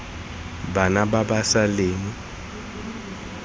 bana ba ba sa leng